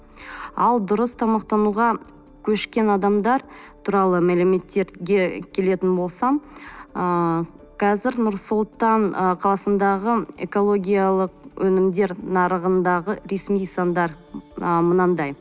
ал дұрыс тамақтануға көшкен адамдар туралы мәліметтерге келетін болсам ыыы қазір нұр сұлтан ы қаласындағы экологиялық өнімдер нарығындағы ресми стандарт ы мынандай